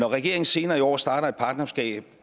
regeringen senere i år starter et partnerskab